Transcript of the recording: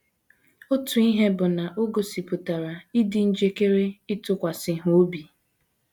Otu ihe bụ na o gosipụtara ịdị njikere ịtụkwasị ha obi.